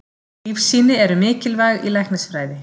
Lífsýni eru mikilvæg í læknisfræði.